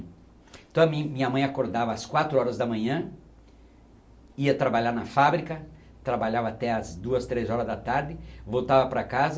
Então a mi minha mãe acordava às quatro horas da manhã, ia trabalhar na fábrica, trabalhava até às duas, três horas da tarde, voltava para casa,